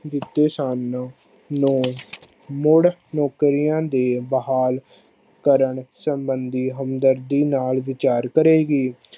ਦਿੱਤੇ ਸਨ ਨੂੰ ਮੁੜ ਨੌਕਰੀਆਂ ਦੇ ਬਹਾਲ ਕਰਨ ਸੰਬੰਦੀ ਹਮਦਰਦੀ ਨਾਲ ਵਿਚਾਰ ਕਰੇਗੀ।